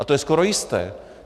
A to je skoro jisté.